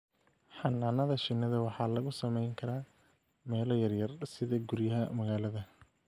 Xannaanada shinnida waxaa lagu samayn karaa meelo yaryar sida guryaha magaalada.